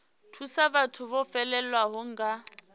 thusa vhathu vho fhelelwaho nga